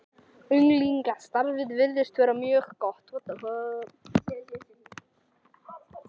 Unglingastarfið virðist vera mjög gott.